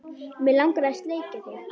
Mig langar að sleikja þig.